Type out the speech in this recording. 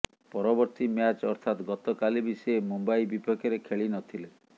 ପରବର୍ତ୍ତୀ ମ୍ୟାଚ୍ ଅର୍ଥାତ ଗତକାଲି ବି ସେ ମୁମ୍ବାଇ ବିପକ୍ଷରେ ଖେଳି ନଥିଲେ